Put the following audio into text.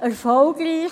wandte.